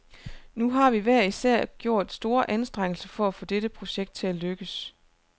Nu har vi hver især gjort store anstrengelser for at få dette projekt til at lykkes.